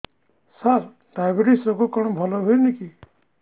ସାର diabetes ରୋଗ କଣ ଭଲ ହୁଏନି କି